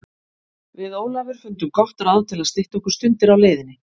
Við Ólafur fundum gott ráð til að stytta okkur stundir á leiðinni.